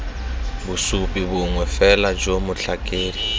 bosupi bongwe fela jo motlhakedi